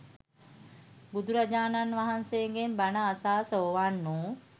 බුදුරජාණන් වහන්සේගෙන් බණ අසා සෝවාන් වූ